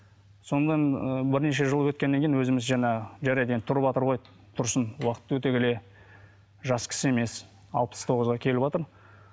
сонымен ыыы бірнеше жыл өткеннен кейін өзіміз жаңағы жарайды енді тұрватыр ғой тұрсын уақыт өте келе жас кісі емес алпыс тоғызға келіватыр